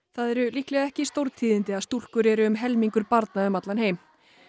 það eru líklega ekki stórtíðindi en stúlkur eru um helmingur barna um allan heim